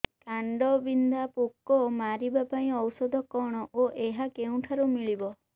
କାଣ୍ଡବିନ୍ଧା ପୋକ ମାରିବା ପାଇଁ ଔଷଧ କଣ ଓ ଏହା କେଉଁଠାରୁ ମିଳିବ